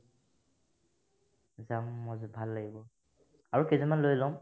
যাম মই য'ত ভাল লাগিব আৰু কেইজনমান লৈ ল'ম